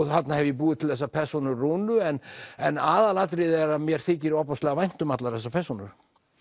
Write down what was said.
þarna hef ég búið til þessa persónu Rúnu en en aðalatriðið er að mér þykir ofboðslega vænt um allar þessar persónur